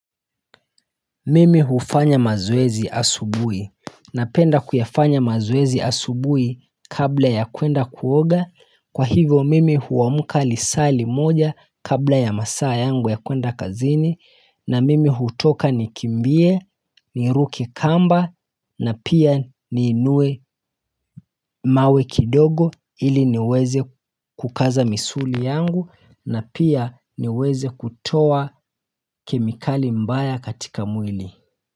Mimi hufanya mazoezi asubuhi Napenda kuyafanya mazoezi asubuhi kabla ya kuenda kuoga Kwa hivyo mimi huamuka lisaa limoja kabla ya masaa yangu ya kuenda kazini na mimi hutoka nikimbie, niruke kamba na pia niinue mawe kidogo ili niweze kukaza misuli yangu na pia niweze kutowa kemikali mbaya katika mwili.